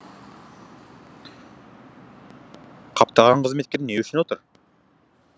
қаптаған қызметкер не үшін отыр